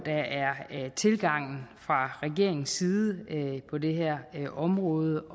er tilgangen fra regeringens side på det her område